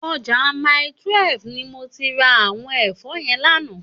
Òjá Màítúèf ni mó ti rá áwòn èfò yèn làná